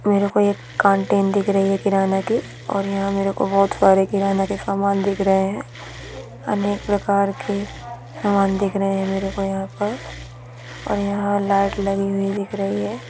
मेरे को एक दिख रही है किराना की और यहाँ मेरे को बहोत सारे किराना के समान दिख रहे है अनेक प्रकार के समान दिख रहे है मेरे को यहाँ पर और यहाँ लाइट लगी हुई दिख रही है।